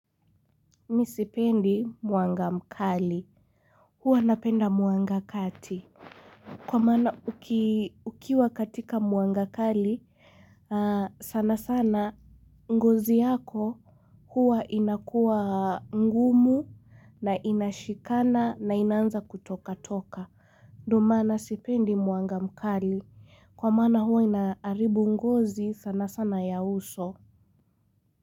Mimi sipendi mwanga mkali. Huwa napenda mwanga kati. Kwa maana ukiwa katika mwanga kali. Sana sana ngozi yako huwa inakua ngumu na inashikana na inanza kutoka toka. Ndo maana sipendi mwanga mkali. Kwa maana huwa inaaribu ngozi sana sana ya uso.